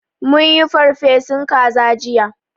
Mun yi farfesun kaza jiya